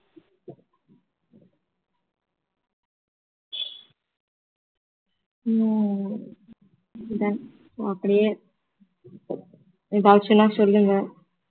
ஹம் done அப்படியே doubts னா சொல்லுங்க